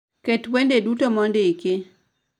Ket wende duto mondiki